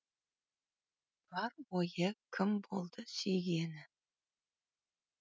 бар ойы кім болды сүйгені